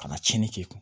Ka na tiɲɛni kɛ